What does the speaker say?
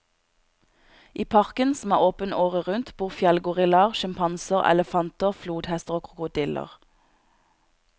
I parken, som er åpen året rundt, bor fjellgorillaer, sjimpanser, elefanter, flodhester og krokodiller.